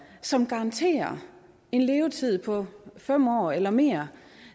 som garanterer en levetid på fem år eller mere